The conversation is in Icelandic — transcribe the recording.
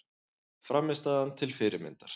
Frammistaðan til fyrirmyndar